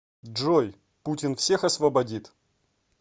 джой путин всех освободит